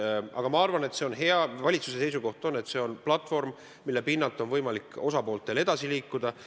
Aga ma arvan, et see on hea: valitsuse seisukoht on, et see on platvorm, mille pinnalt on võimalik osapooltel edasi liikuda.